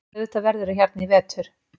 Auðvitað verðurðu hérna í vetur.